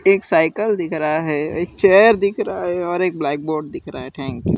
एक साइकिल दिख रहा है एक चेयर दिख रहा है और एक ब्लैक बोर्ड दिख रहा है थैंक्यू ।